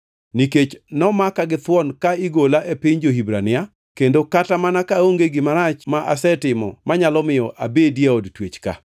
Nikech nomaka githuon ka igola e piny jo-Hibrania, kendo kata mana kaonge gima rach ma asetimo manyalo miyo abedie od twech ka.”